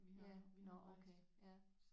Ja nåh okay ja